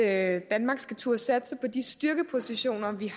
at danmark skal turde satse på de styrkepositioner vi